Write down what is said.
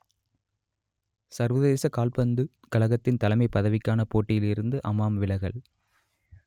சர்வதேச கால்பந்துக் கழகத்தின் தலைமைப் பதவிக்கான போட்டியில் இருந்து அமாம் விலகல்